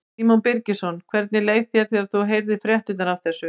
Símon Birgisson: Hvernig leið þér þegar þú heyrðir fréttirnar af þessu?